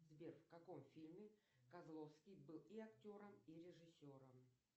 сбер в каком фильме козловский был и актером и режиссером